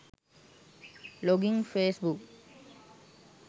login facebook